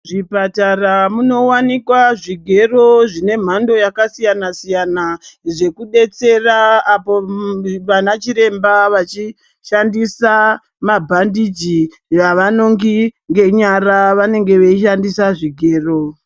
Muzvipatara munowanika zvigero zvemhando yakasiyana siyana zvekudetsera apo vana chiremba vachishandisa mabhandichi avanongi ngenyara vanenge vachishandisa zvigero.